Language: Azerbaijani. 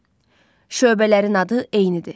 Şöbələrin adı eynidir.